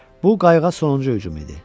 Bu qayıqa sonuncu hücum idi.